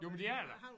Jo men det er det da